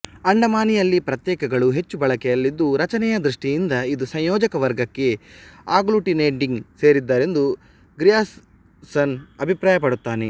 ಅಂಡಮಾನಿಯಲ್ಲಿ ಪ್ರತ್ಯಯಗಳು ಹೆಚ್ಚು ಬಳಕೆಯಲ್ಲಿದ್ದು ರಚನೆಯ ದೃಷ್ಟಿಯಿಂದ ಇದು ಸಂಯೋಜಕ ವರ್ಗಕ್ಕೆ ಆಗ್ಲೂಟಿನೇಟಿಂಗ್ ಸೇರಿದ್ದೆಂದು ಗ್ರಿಯರ್ಸನ್ ಅಭಿಪ್ರಾಯ ಪಡುತ್ತಾನೆ